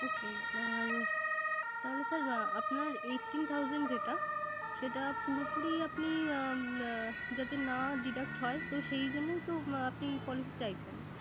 Okay আর তাহলে sir আপনার Eighteen thousand যেটা সেটা পুরোপুরি আপনি যাতে না deduct হয়। তো সেই জন্য তো আপনি Policy